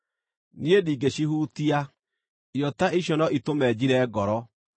Niĩ ndingĩcihutia; irio ta icio no itũme njire ngoro.